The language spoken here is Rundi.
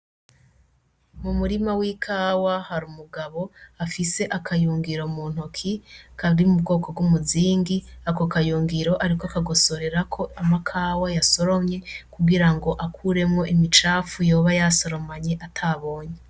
Umurima w'ikawa harimwo umugabo afise akayungiro muntoke kari mubwoko bwumuzingi , Ako kayungiro ariko akagosorerako amakawa yasoromye kugirango akuremwo imicafu yoba yasoromanye atabonye .